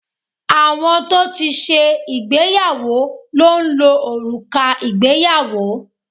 Àwọn tó ti ṣe ìgbéyàwó ló ń lo òrùka ìgbéyàwó